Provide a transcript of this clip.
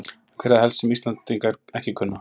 En hvað er það helst sem Íslendingar ekki kunna?